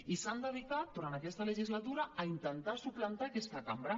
i s’han dedicat durant aquesta legislatura a intentar suplantar aquesta cambra